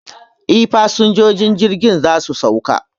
E, fasinjojin jirgin za su sauka